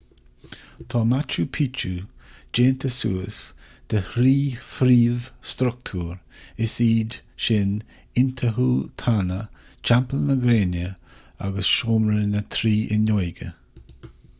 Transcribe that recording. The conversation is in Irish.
tá machu picchu déanta suas de thrí phríomh-struchtúr is iad sin intihuatana teampall na gréine agus seomra na trí fhuinneoige